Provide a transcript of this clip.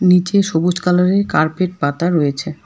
নীচে সবুজ কালারের কার্পেট পাতা রয়েছে।